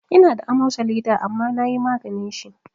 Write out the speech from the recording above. Ina da amosali da amma nayi maganin shi